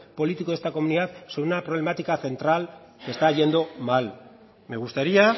político de esta comunidad sobre una problemática central que está yendo mal me gustaría